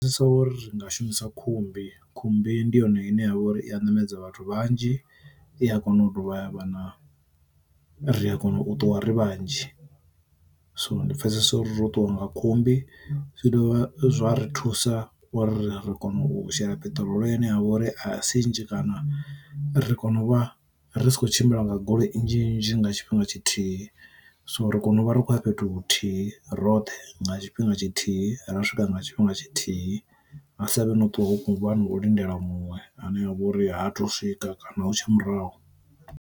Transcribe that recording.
Pfesesa ori ringa shumisa khumbi, khumbi ndi yone ine ya vha uri i a ṋamedza vhathu vhanzhi i a kona u dovha ha vha na ri a kona u ṱuwa ri vhanzhi. So ndi pfesesa uri ro ṱuwa nga khumbi zwi dovha zwa ri thusa uri ri kona u shela peṱirolo ine yavha ori a si nnzhi kana ri kone u vha ri si kho tshimbila nga goloi nnzhi nnzhi nga tshifhinga tshithihi. So ri kono u vha ri khou ya fhethu huthihi roṱhe nga tshifhinga tshithihi. Ra swika nga tshifhinga tshithihi ha savhe no ṱuwa ho khuvha ndo lindela muṅwe ane a vha uri ha thu swika kana hu tsha murahu.